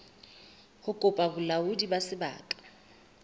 ho kopa bolaodi ba sebaka